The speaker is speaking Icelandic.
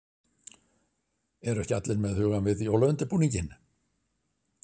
Eru ekki allir með hugann við jólaundirbúninginn?